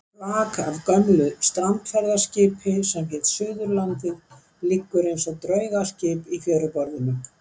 Flak af gömlu strandferðaskipi sem hét Suðurlandið liggur eins og draugaskip í fjöruborðinu.